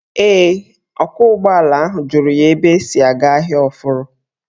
Ee, ọkwọụgbọala ahụ jụrụ ya ebe esi aga Ahịa Ọfụrụ.